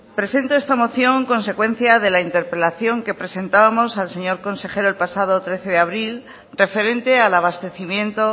presento esta moción consecuencia de la interpelación que presentábamos al señor consejero el pasado trece de abril referente al abastecimiento